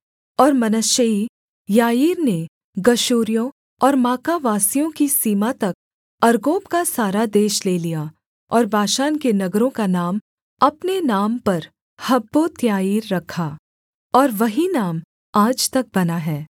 और मनश्शेई याईर ने गशूरियों और माकावासियों की सीमा तक अर्गोब का सारा देश ले लिया और बाशान के नगरों का नाम अपने नाम पर हब्बोत्याईर रखा और वही नाम आज तक बना है